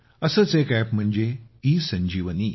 असेच एक अॅप म्हणजे ईसंजीवनी